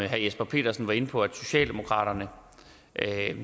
jesper petersen var inde på at socialdemokraterne